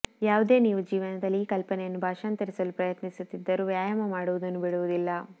ಯಾವುದೇ ನೀವು ಜೀವನದಲ್ಲಿ ಈ ಕಲ್ಪನೆಯನ್ನು ಭಾಷಾಂತರಿಸಲು ಪ್ರಯತ್ನಿಸುತ್ತಿದ್ದರು ವ್ಯಾಯಾಮ ಮಾಡುವುದನ್ನು ಬಿಡುವುದಿಲ್ಲ